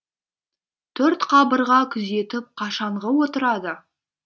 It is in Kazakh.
төрт қабырға күзетіп қашанғы отырады